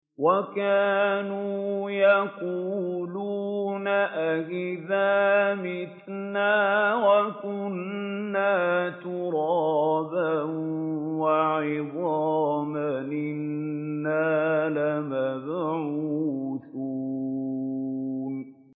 وَكَانُوا يَقُولُونَ أَئِذَا مِتْنَا وَكُنَّا تُرَابًا وَعِظَامًا أَإِنَّا لَمَبْعُوثُونَ